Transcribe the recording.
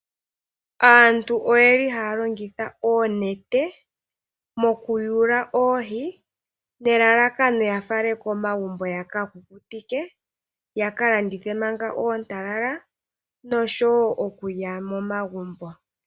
Aantu oye li haa longitha oonete mokuyula oohi nelalakano ya fale komagumbo ya ka kukutike, ya ka landithe manga oontalala nosho wo okulya momagumbo.